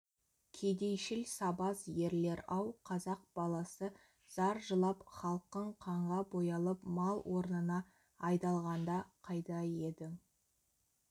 кедейшіл сабаз ерлер-ау қазақ баласы зар жылап халқың қанға боялып мал орнына айдалғанда қайда едің